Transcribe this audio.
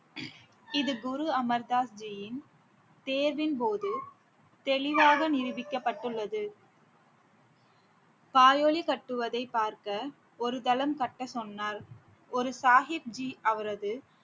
இது குரு அமர் தாஸ் ஜியின் தேர்வின்போது தெளிவாக நிரூபிக்கப்பட்டுள்ளது காயொலி கட்டுவதை பார்க்க ஒரு தளம் கட்டச் சொன்னால் ஒரு சாஹிப்ஜி அவரது